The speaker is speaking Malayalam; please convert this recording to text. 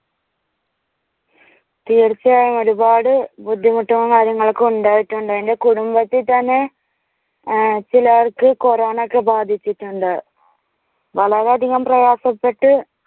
തീർച്ചയായും ഒരുപാട് ബുദ്ധിമുട്ടും കാര്യങ്ങളുക്കെ ഉണ്ടായിട്ടുണ്ട്. എന്റെ കുടുംബത്തിൽ തന്നെ ചിലവർക്ക് കൊറോണക്കെ ബാധിച്ചിട്ടുണ്ട്. വളരെയധികം പ്രയാസപ്പെട്ട്